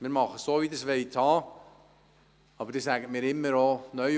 Wir machen es so, wie Sie es haben wollen, aber Sie sagen mir immer wieder: